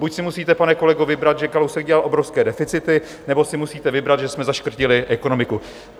Buď si musíte, pane kolego, vybrat, že Kalousek dělal obrovské deficity, nebo si musíte vybrat, že jsme zaškrtili ekonomiku.